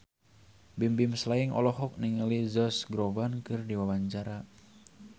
Bimbim Slank olohok ningali Josh Groban keur diwawancara